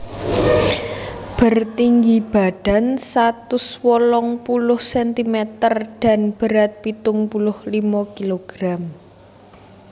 Bertinggi badan satus wolung puluh sentimeter dan berat pitung puluh limo kilogram